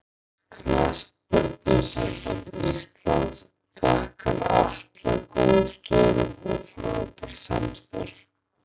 Knattspyrnusamband Íslands þakkar Atla góð störf og frábært samstarf.